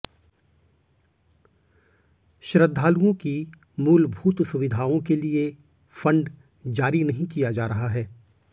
श्रृद्धालुओं की मूलभूत सुविधाओं के लिए फंड जारी नहीं किया जा रहा है